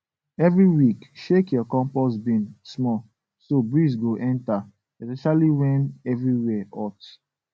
every week shake your compost bin small so breeze go enter especially when everywhere hot